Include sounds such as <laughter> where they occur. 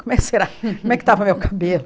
Como é que será <laughs> como é que estava meu cabelo?